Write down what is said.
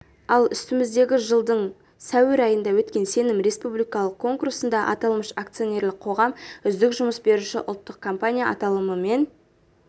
ал үстіміздегі жылдың сәуір айында өткен сенім республикалық конкурсында аталмыш акционерлік қоғам үздік жұмыс беруші ұлттық компания аталымымен